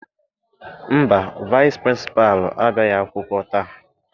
Mba, vaịsị pịrịnsịpalụ abịaghị akwụkwọ taa.